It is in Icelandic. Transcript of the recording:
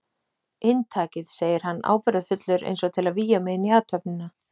Inntakið, segir hann ábyrgðarfullur eins og til að vígja mig inn í athöfnina.